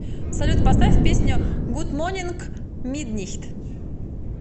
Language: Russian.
салют поставь песню гуд монинг миднайт